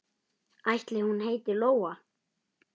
Ætli hún heiti Lóa?